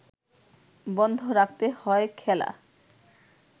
বন্ধ রাখতে হয় খেলা